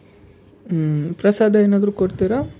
ಹ್ಮ್. ಪ್ರಸಾದ ಏನಾದ್ರು ಕೊಡ್ತೀರ?